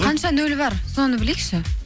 қанша нөл бар соны білейікші